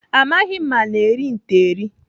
Amaghị m ma ana eri nte eri.